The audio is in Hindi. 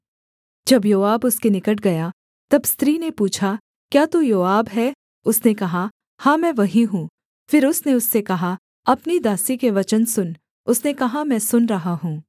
जब योआब उसके निकट गया तब स्त्री ने पूछा क्या तू योआब है उसने कहा हाँ मैं वही हूँ फिर उसने उससे कहा अपनी दासी के वचन सुन उसने कहा मैं सुन रहा हूँ